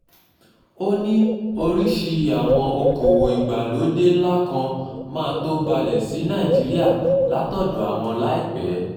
ó ní oríṣìí àwọn okòòwò ìgbàlódé ńlá kan máa tóó balẹ̀ sí nàìjíríà látọ̀dọ̀ àwọn láìpẹ́